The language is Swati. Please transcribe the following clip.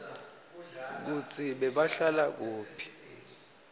kutsi bebahlala kuphi